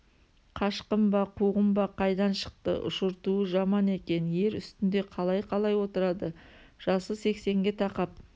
қашқын ба қуғын ба қайдан шықты ұшыртуы жаман екен ер үстінде қалай-қалай отырады жасы сексенге тақап